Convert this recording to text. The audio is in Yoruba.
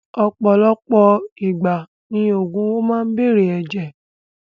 Ọ̀pọ̀lọpọ̀ ìgbà ni ògùn owó máa n bere ẹ̀jẹ̀.